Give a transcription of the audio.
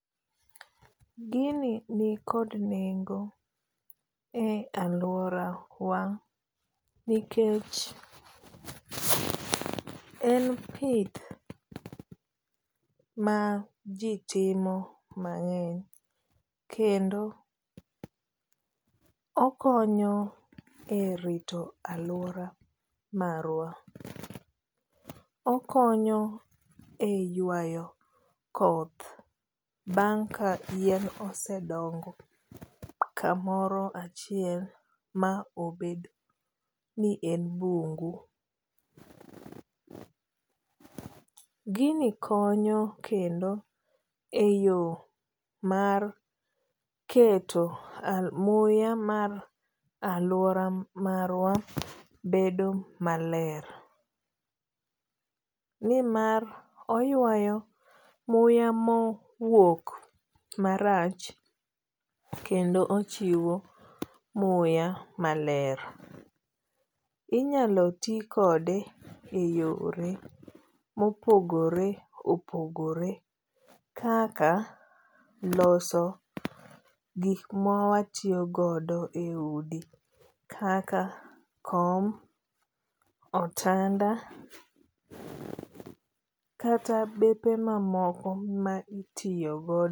Gini nikod nengo e aluorawa nikech en pith maji timo mang'eny kendo okonyo e rio aluora marwa. Okonyo e yuayo koth bang' ka yien osedongo kamoro achiel ma obedo ni en bungu. Gini konyo kendo eyo mar eketo muya mar aluora marwa bedo maler. Nimar oyuayo muya ma owuok marach kendo ochiwo muya maler. Inyaloti kode eyore mopogore opogore kaka loso gik ma watiyo godo eudi kaka kom, otanda kata bepe mamoko ma itiyo godo,